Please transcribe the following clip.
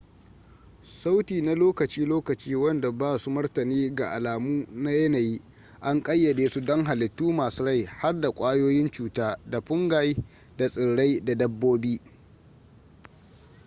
sauti na lokaci-lokaci wanda ba su martani ga alamu na yanayi an kayyade su don hallitu masu rai har da kwayoyin cuta da fungi da tsirai da dabbobi